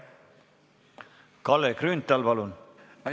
Kalle Grünthal, palun!